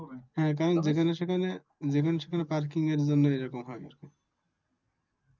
হ্যাঁ, যেখানে সেখানে Parking এর জন্য এরকম হয়,